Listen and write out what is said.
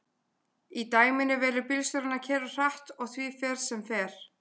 í dæminu velur bílstjórinn að keyra hratt og því fer sem fer